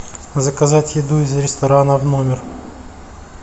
заказать еду из ресторана в номер